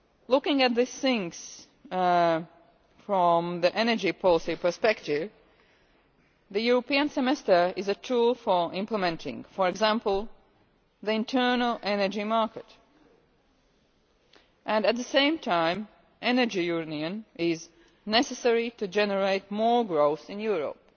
Looking at things from the energy policy perspective, the European Semester is a tool for implementing, for example, the internal energy market. At the same time, the Energy Union is necessary to generate more growth in Europe.